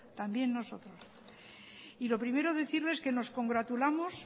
también nosotros lo primero decirles que nos congratulamos